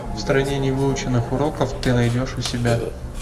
в стране невыученных уроков ты найдешь у себя